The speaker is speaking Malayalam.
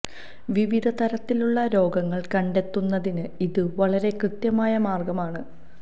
വിവിധ തരത്തിലുള്ള രോഗങ്ങൾ കണ്ടെത്തുന്നതിന് ഇത് വളരെ കൃത്യമായ മാർഗ്ഗമാണ്